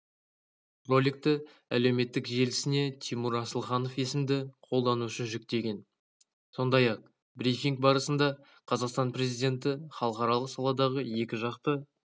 роликті әлеуметтік желісіне тимур асылханов есімді қолданушы жүктеген сондай-ақ брифинг барысында қазақстан президенті халықаралық саладағы екіжақты